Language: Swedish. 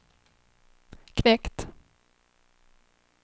knekt